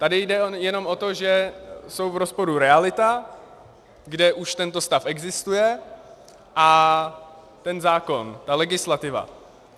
Tady jde jenom o to, že jsou v rozporu realita, kde už tento stav existuje, a ten zákon, ta legislativa.